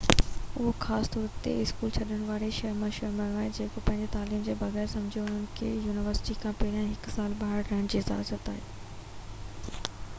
اهو خاص طور تي اسڪول ڇڏڻ وارن ۾ مشهور آهي اهي پنهنجي تعليم جي بغير سمجهوتي انهن کي يونيورسٽي کان پهرين هڪ سال ٻاهر رهڻ جي اجازت آهي